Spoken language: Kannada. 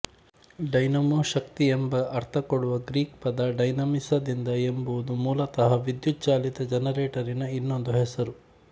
ಡೈನಮೋ ಶಕ್ತಿ ಎಂಬ ಅರ್ಥಕೊಡುವ ಗ್ರೀಕ್ ಪದ ಡೈನಾಮಿಸ ದಿಂದ ಎಂಬುದು ಮೂಲತಃ ವಿದ್ಯುಚ್ಛಾಲಿತ ಜನರೇಟರಿನ ಇನ್ನೊಂದು ಹೆಸರು